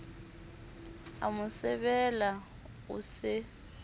a mo sebela o se